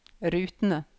rutene